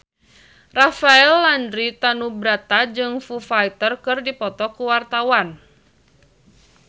Rafael Landry Tanubrata jeung Foo Fighter keur dipoto ku wartawan